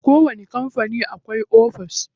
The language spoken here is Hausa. A kowani kampani akwai ofis.